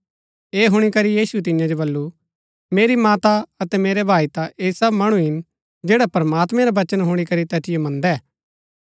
ऐह हुणी करी यीशुऐ तियां जो वल्‍लु मेरी माता अतै मेरै भाई ता ऐह सब मणु हिन जैडा प्रमात्मैं रा वचन हुणी करी तैतिओ मन्दै